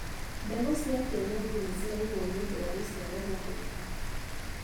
Mbegũ cia kienyeji nĩciraigũo nĩũndũ wa rũciaro rũgũka.